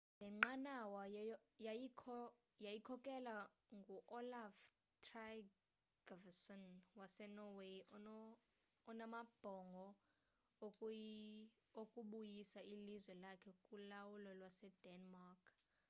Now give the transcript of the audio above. le nqanawa yayikhokelwa ngu-olaf trygvasson wasenorway onamabhongo okubuyisa ilizwe lakhe kulawulo lwasedenmark